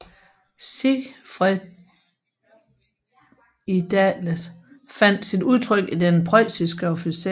Sigfriedidealet fandt sit udtryk i den preusiske officer